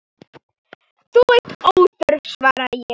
Þú ert óþörf, svaraði ég.